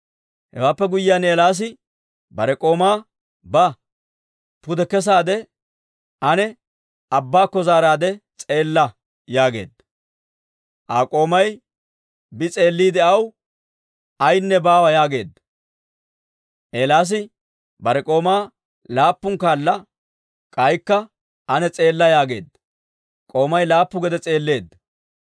Hewaappe guyyiyaan Eelaasi bare k'oomaa, «Ba; pude kesaade ane abbaakko zaaraade s'eella» yaageedda. Aa k'oomay bi s'eelliide aw, «Ayaynne baawa» yaageedda. Eelaasi bare k'oomaa laappun kaala, «K'aykka ane s'eella» yaageedda. K'oomay laappu gede s'eelleedda.